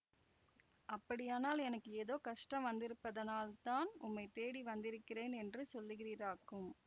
அப்படியானால் எனக்கு ஏதோ கஷ்டம் வந்திருப்பதனால் தான் உம்மைத் தேடி வந்திருக்கிறேன் என்று சொல்லுகிறீராக்கும்